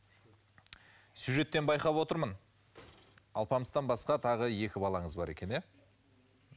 сюжеттен байқап отырмын алпамыстан басқа тағы екі балаңыз бар екен иә